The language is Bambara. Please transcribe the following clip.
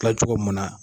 Kila cogo mun na